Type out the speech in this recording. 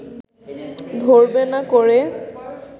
ধরবে না করে